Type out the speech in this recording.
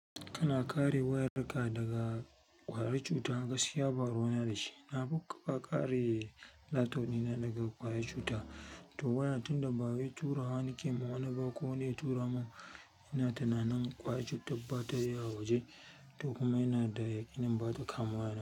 Kana kare wayar ka daga ƙwari cuta, gaskiya ba ruwa yana da shi. Nafi kare laptop dina daga ƙwayar cuta, to waya tunda bawai tura wa nake wa wani ba ko wani ya tura mun ina tunanin ƙwayar cutar bata iya waje, to kuma ina da yaƙinin bata kama waya na.